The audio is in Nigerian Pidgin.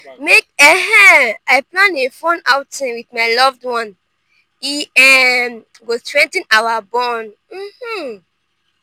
make um i plan a fun outing with my loved one; e um go strengthen our bond. um